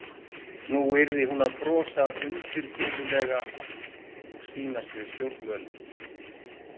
Nú yrði hún að brosa undirfurðulega og sýnast við stjórnvölinn.